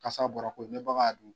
Kasa bɔra koyi ni bagan y'a dun.